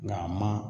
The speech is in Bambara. Nga a ma